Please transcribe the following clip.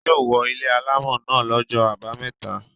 Wọn yóò wó ilé alámọ̀ náà lọ́jọ́ àbámẹ́ta.